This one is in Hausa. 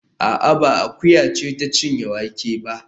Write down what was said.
A'a, ba akuya ce ta cinye wake ba